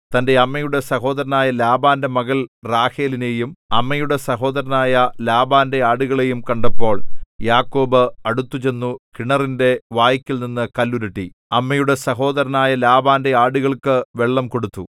തന്റെ അമ്മയുടെ സഹോദരനായ ലാബാന്റെ മകൾ റാഹേലിനെയും അമ്മയുടെ സഹോദരനായ ലാബാന്റെ ആടുകളെയും കണ്ടപ്പോൾ യാക്കോബ് അടുത്തുചെന്നു കിണറിന്റെ വായ്ക്കൽനിന്നു കല്ലുരുട്ടി അമ്മയുടെ സഹോദരനായ ലാബാന്റെ ആടുകൾക്കു വെള്ളം കൊടുത്തു